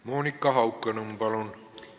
Monika Haukanõmm, palun!